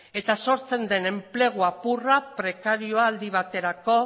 eta sortzen den enplegu apurra prekarioa aldi baterako